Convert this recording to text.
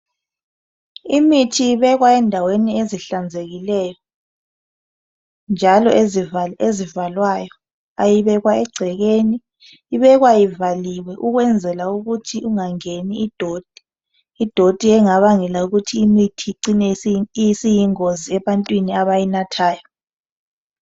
imithi ibekwa endaweni ezihlanzekileyo njalo ezivalwayo ayibekwa ecekeni ibekwa ivaliwe ukwenzela ukuthi ingangeni idoti idoti engabangela ukuthi imithi icine isiyingozi ebantwini abayinathayo